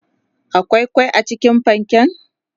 akwai kwai cikin panken?